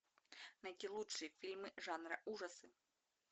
найти лучшие фильмы жанра ужасы